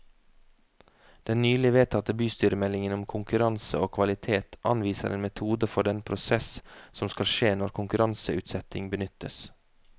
Den nylig vedtatte bystyremeldingen om konkurranse og kvalitet anviser en metode for den prosess som skal skje når konkurranseutsetting benyttes.